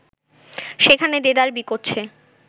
সেখানে দেদার বিকোচ্ছে